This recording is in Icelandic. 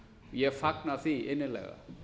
ég fagna því innilega